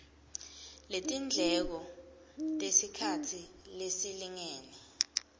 letindleko tesikhatsi lesilingene